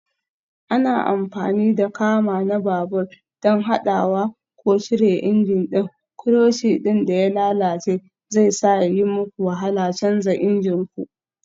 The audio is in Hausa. Ana amfani da kama na babur don haɗawa ko cire injin ɗin, clutch ɗin da ya lalace zai sa ya yi muku wahala canza injin ku.